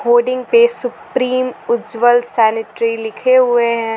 Hoarding पे supreme Ujjwal sanitary लिखे हुए हैं।